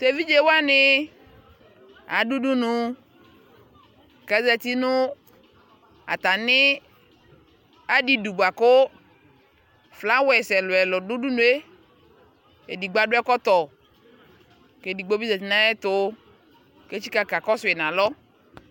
Tevidʒee wanii adu udunu kazati natani adidu buakoflawers ɛluɛlu du udunue edigbo adu ɛkɔtɔ kedigbobi zati nayɛtu kakakɔsue nalɔ